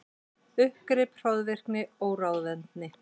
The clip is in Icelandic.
Uppgrip, hroðvirkni, óráðvendni.